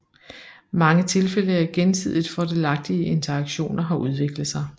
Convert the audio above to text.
Mange tilfælde af gensidigt fordelagtige interaktioner har udviklet sig